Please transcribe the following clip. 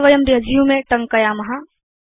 अथ वयं रेसुमे टङ्कयाम